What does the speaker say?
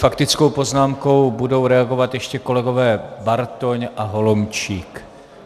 Faktickou poznámkou budou reagovat ještě kolegové Bartoň a Holomčík.